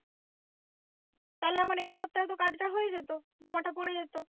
তাহলে আমার এই সপ্তাহে তো কাজ টা হয়ে যেত জমাটা পরে যেত।